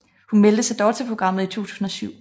Hun meldte sig dog til programmet i 2007